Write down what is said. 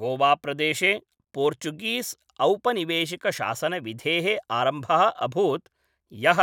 गोवाप्रदेशे पोर्चुगीस्औपनिवेशिकशासनविधेः आरम्भः अभूत् यः